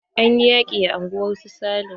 Anyi yaƙi a unguwar su sale.